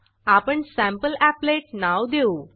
आपण सॅम्पलीपलेट sample applet नाव देऊ